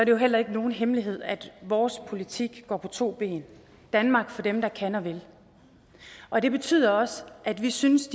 jo heller ikke nogen hemmelighed at vores politik går på to ben danmark for dem der kan og vil og det betyder også at vi synes